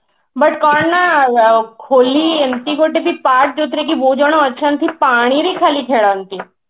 but କଣ ନା ହୋଲି ଏମିତି ଗୋଟେ ଫିତା ଯୋଉଥିରେ କି ବହୁତ ଜଣ ଅଛନ୍ତି ପାଣିରେ ଖାଲି ଖେଳନ୍ତି